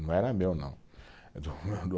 Não era meu, não.